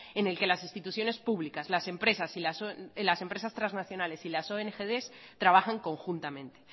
en el que las instituciones públicas las empresas transnacionales y las ongds trabajan conjuntamente